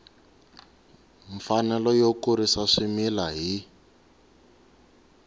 mfanelo yo kurisa swimila hi